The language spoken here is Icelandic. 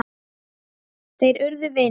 Þeir urðu vinir.